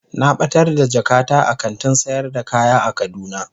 Na batar da jakata a kantin sayar da kaya a kaduna.